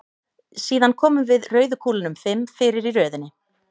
Síðan komum við rauðu kúlunum fimm fyrir í röðinni.